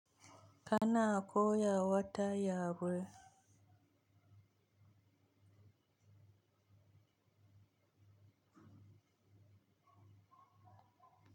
Ka na a koya wata yawul.